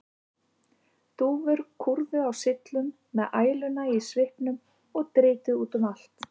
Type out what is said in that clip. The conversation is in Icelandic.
Dúfur kúrðu á syllum með æluna í svipnum og dritið út um allt.